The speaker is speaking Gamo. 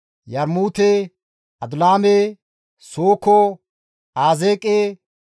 Yarmuute, Adulaame, Sooko, Azeeqe,